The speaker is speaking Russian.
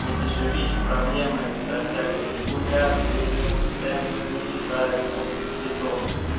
тут ещё видишь проблемы со всякой регуляции на него постоянно наезжают на этот биток